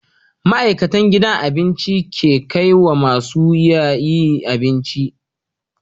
Ma'aikatan gidan abincin ke kaiwa masu yiya abinci